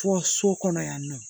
Fɔ so kɔnɔ yan nɔ